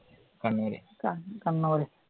കണ്ണൂര് ആ കണ്ണൂര്